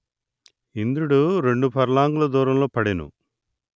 ఇంద్రుడు రెండు పర్లాంగుల దూరంలో పడెను